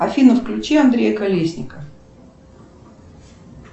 афина включи андрея колесника